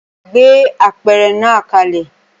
Gbé apẹ̀rẹ̀ náà kalẹ̀!